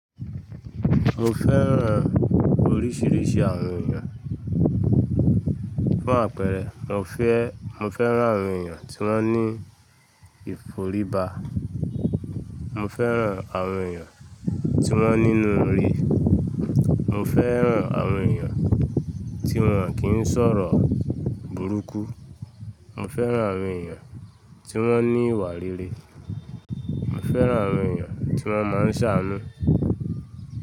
Mo fẹ́ràn oríṣiríṣi àwọn èèyàn. Fún àpẹẹrẹ, mo fẹ́-- mo fẹ́ràn àwọn èèyàn tí wọ́n ní ìforíba. Mo fẹ́ràn àwọn èèyàn tí wọ́n nínu ire. Mo fẹ́ràn àwọn èèyàn tí wọ́n kì ń sọ̀rọ̀ burúkú. Mo fẹ́ràn àwọn èèyàn tí wọ́n ní ìwà rere. Mo fẹ́ràn àwọn èèyàn tí wọ́n máa ń ṣàánú.